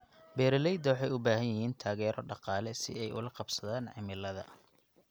Beeralayda waxay u baahan yihiin taageero dhaqaale si ay ula qabsadaan cimilada.